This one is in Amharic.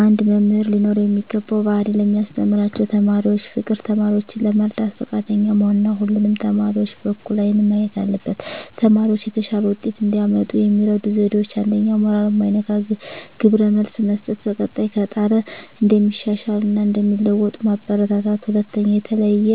አንድ መምህር ሊኖረው የሚገባው ባህሪ ለሚያስተምራቸው ተማሪዎች ፍቅር፣ ተማሪዎችን ለመርዳት ፈቃደኛ መሆን እና ሁሉንም ተማሪዎች በእኩል አይን ማየት አለበት። ተማሪዎች የተሻለ ውጤት እንዲያመጡ የሚረዱ ዜዴዎች 1ኛ. ሞራል ማይነካ ግብረ መልስ መስጠት፣ በቀጣይ ከጣረ እንደሚሻሻል እና እንደሚለዎጡ ማበራታታት። 2ኛ. የተለየ